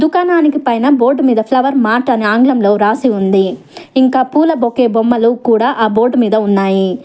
దుకాణానికి పైన బోర్డు మీద ఫ్లవర్ మార్ట్ ఆంగ్లంలో రాసి ఉంది ఇంకా పూల బొకే బొమ్మలు కూడా ఆ బోర్డు మీద ఉన్నాయి.